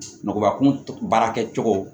Nɔgɔba kun baarakɛcogo